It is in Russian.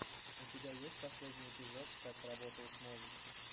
у тебя есть последний эпизод как работает мозг